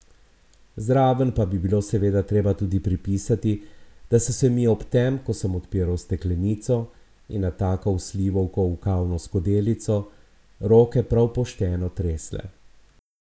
Zraven pa bi bilo seveda treba tudi pripisati, da so se mi ob tem, ko sem odpiral steklenico in natakal slivovko v kavno skodelico, roke prav pošteno tresle.